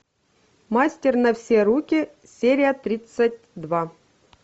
мастер на все руки серия тридцать два